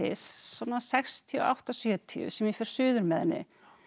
svona sextíu og átta til sjötíu sem ég fer suður með henni